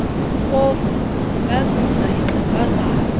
kofu ungavimba ixhegwazana